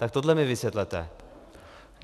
Tak tohle mi vysvětlete.